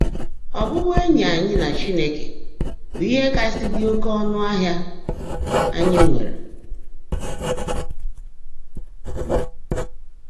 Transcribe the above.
Ọ́bụ́bụ́éńyí ányị́ nà Chínekè bụ́ íhe kàsị́ ḍị́ óké ọ́nụ́ áhị́a ányị́ nwèrè.